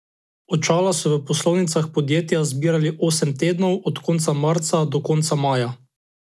Očala so v poslovalnicah podjetja zbirali osem tednov od konca marca do konca maja.